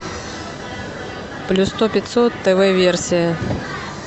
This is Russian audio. плюс сто пятьсот тв версия